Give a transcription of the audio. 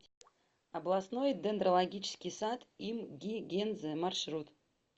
областной дендрологический сад им ги гензе маршрут